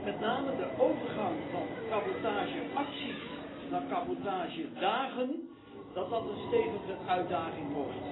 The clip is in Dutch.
Met name de overgang van cabotage acties naar cabotage dagen wordt een stevige uitdaging.